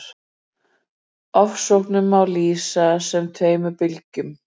Ofsóknunum má lýsa sem tveimur bylgjum.